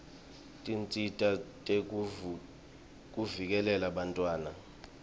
tinsita tekuvikela bantfwana